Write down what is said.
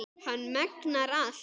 Hann megnar allt.